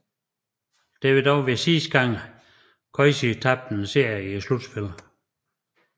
Dette ville dog være sidste gang Cousy tabte en serie i slutspillet